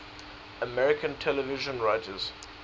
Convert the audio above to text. american television writers